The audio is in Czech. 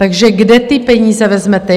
Takže kde ty peníze vezmete?